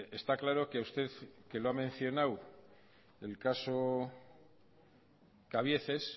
está claro que a usted que lo ha mencionado el caso cabieces